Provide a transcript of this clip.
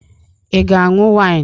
Ị ga-aṅụ wịnụ?